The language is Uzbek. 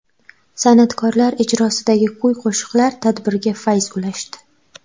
San’atkorlar ijrosidagi kuy-qo‘shiqlar tadbirga fayz ulashdi.